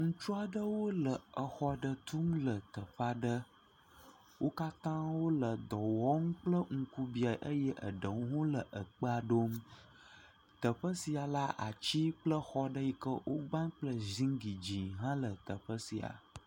Ŋutsua ɖewo le exɔ ɖe tum le teƒe aɖe. Wò katã wòle dɔwɔm kple ŋku bĩa eye aɖewo le akpa ɖom. Teƒe sia la ati kple exɔ ɖe yike wò gbã kple zigli dze hã le teƒe sia.